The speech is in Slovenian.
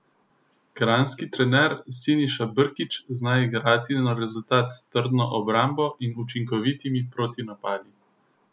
Kranjski trener Siniša Brkić zna igrati na rezultat s trdno obrambo in učinkovitimi protinapadi.